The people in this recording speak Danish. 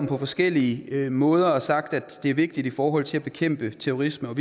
på forskellige måder og sagt at det er vigtigt i forhold til at bekæmpe terrorisme